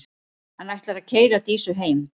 Hann ætlar að keyra Dísu heim.